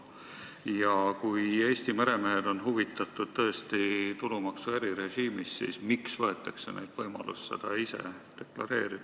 Ja kui Eesti meremehed on tõesti huvitatud tulumaksu erirežiimist, siis miks võetakse neilt võimalus seda ise deklareerida?